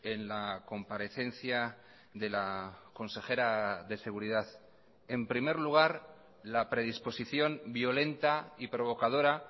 en la comparecencia de la consejera de seguridad en primer lugar la predisposición violenta y provocadora